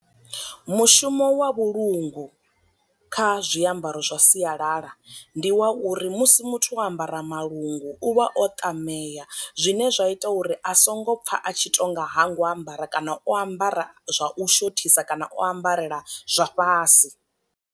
Mushumo wa vhulungu kha zwiambaro zwa sialala, ndi wa uri musi muthu o ambara malungu u vha o ṱameya zwine zwa ita uri a songo pfa a tshi tonga hango ambara kana o ambara zwa u shothisa kana o ambarela zwa fhasi.